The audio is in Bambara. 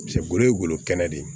Paseke golo ye golo kɛnɛ de ye